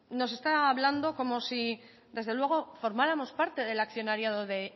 nos está hablando como desde luego formáramos parte del accionariado de